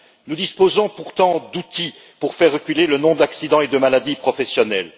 Nous disposons pourtant d'outils pour faire reculer le nombre d'accidents et de maladies professionnelles.